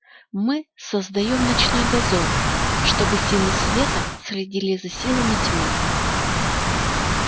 мы создаём ночной дозор чтобы силы света следили за силами тьмы